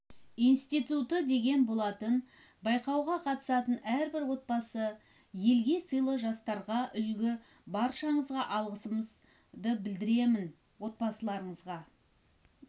институты деген болатын байқауға қатысқан әр отбасы елге сыйлы жастарға үлгі баршаңызға алғысымды білдіремін отбасыларыңызға